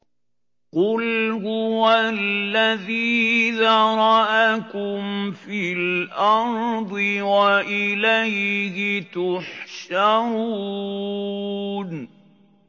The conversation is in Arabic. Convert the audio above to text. قُلْ هُوَ الَّذِي ذَرَأَكُمْ فِي الْأَرْضِ وَإِلَيْهِ تُحْشَرُونَ